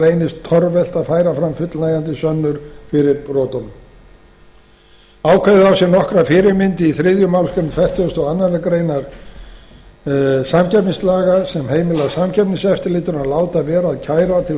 reynist torvelt að færa fram fullnægjandi sönnur fyrir brotunum ákvæðið á sér nokkra fyrirmynd í þriðju málsgrein fertugustu og aðra grein samkeppnislaga sem heimilar samkeppniseftirlitinu að láta vera að kæra til